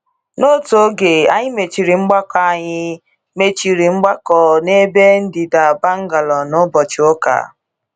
N’otu oge, anyị mechiri mgbakọ anyị mechiri mgbakọ n’ebe ndịda Bangalore n’ụbọchị ụka